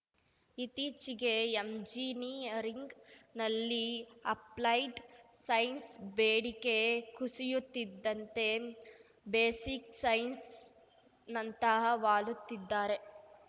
ಇತ್ತೀಚಿಗೆ ಎಂಜಿನಿಯರಿಂಗ್‌ನಲ್ಲಿ applied science ಬೇಡಿಕೆ ಕುಸಿಯುತ್ತಿದ್ದಂತೆ ಬೇಸಿಕ್‌ ಸೈನ್ಸ್‌ನಂತಃ ವಾಲುತ್ತಿದ್ದಾರೆ